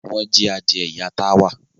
Wọ́n jí adìẹ ìyá Táwà.